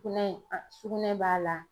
Sukunɛ , a sukunɛ b'a la.